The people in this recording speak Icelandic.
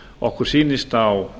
okkur sýnist á